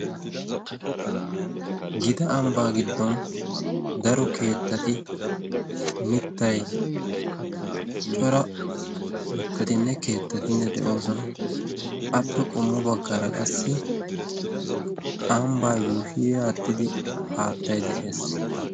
gita ambbaa giddon daro keettati mittai cora mittatinne keettatinne de7oosona appe qummu baggaara qassi ambbaa yuuhii aaxxidi haattai de7ees